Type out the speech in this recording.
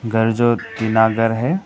घर जो टीना घर है।